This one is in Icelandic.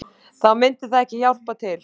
Þá myndi það ekki hjálpa til